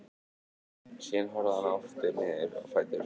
Síðan horfði hann aftur niður á fætur sér sem rótuðu upp mölinni.